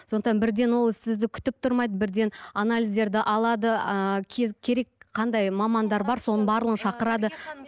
сондықтан бірден ол сізді күтіп тұрмайды бірден анализдерді алады ыыы керек қандай мамандар бар соның барлығын шақырады